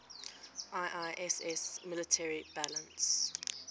iiss military balance